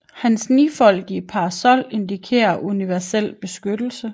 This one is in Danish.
Hans nifoldige parasol indikerer universel beskyttelse